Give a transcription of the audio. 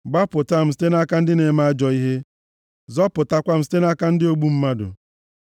Gbapụta m site nʼaka ndị na-eme ajọ ihe, zọpụtakwa m site nʼaka ndị ogbu mmadụ.